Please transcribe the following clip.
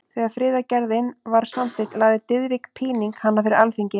Þegar friðargerðin var samþykkt lagði Diðrik Píning hana fyrir Alþingi.